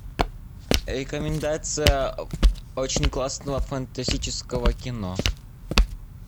рекомендация очень классного фантастического кино